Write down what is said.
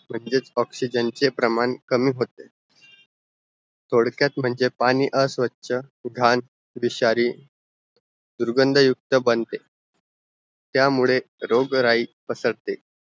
म्हणजे oxygen चे प्रमाण कमी होते थोडक्यात म्हणजे पाणी अस्वछ, घाण, विषारी, दुर्गंधयुक्त बनते त्या मुळे रोगराई पसरते